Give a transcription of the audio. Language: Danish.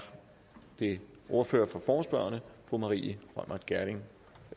det ordføreren for forespørgerne fru maria reumert gjerding